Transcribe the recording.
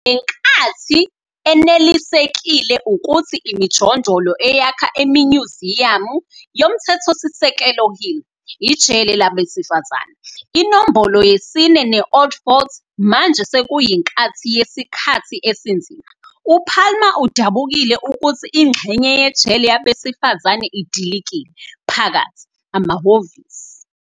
Ngenkathi enelisekile ukuthi imijondolo eyakha iminyuziyamu yoMthethosisekelo Hill - ijele labesifazane, iNombolo Yesine ne-Old Fort - manje sekuyinkathi yesikhathi esinzima, uPalmer udabukile ukuthi ingxenye yejele Yabesifazane "idilikile" phakathi. amahhovisi.